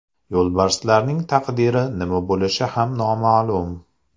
Yo‘lbarslarning taqdiri nima bo‘lishi ham noma’lum.